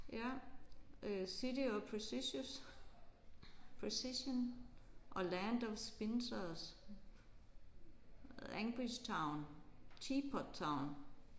Ja øh City of Precisious Precision og Land of Spinsers. Language Town Teapot Town